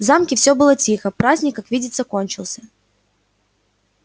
в замке всё было тихо праздник как видится кончился